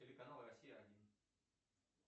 телеканал россия один